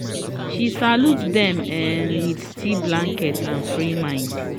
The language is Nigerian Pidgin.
she salute them um with tea blanket and free mind